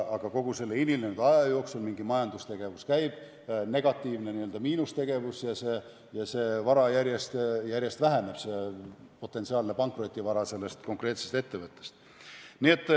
Aga kogu selle hilinenud aja jooksul mingi majandustegevus käib, negatiivne n-ö miinustegevus, ja järjest väheneb potentsiaalne pankrotivara konkreetsest ettevõttest.